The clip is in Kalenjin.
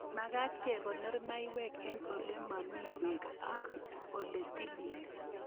Magat kekonor mayaik eng' ole mami peek ak ole tilil